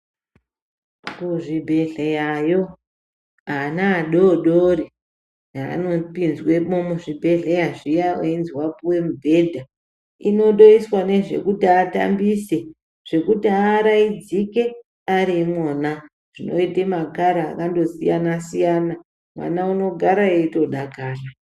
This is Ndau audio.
Kuzvibhehleyayo ana adoodori heanopinzwemo muzvibhedhleya zviya einzi wapuwe mubhedha, inotoiswa nezvekuti atambise zvekuti aaraidzike ari imwona. Zvinoite makara akandosiyana-siyana. Mwana unogara eitodakara